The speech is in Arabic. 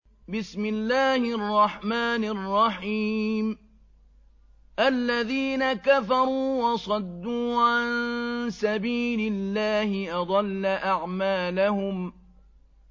الَّذِينَ كَفَرُوا وَصَدُّوا عَن سَبِيلِ اللَّهِ أَضَلَّ أَعْمَالَهُمْ